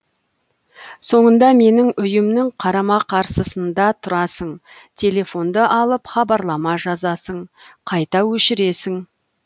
соңында менің үйімнің қарама қарсысыннда тұрасың телефонды алып хабарлама жазасың қайта өшіресің